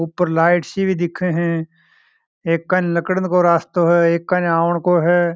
ऊपर लाइट सी भी दिख रही है एक कानी निकलन क रास्ता है एक आने का है।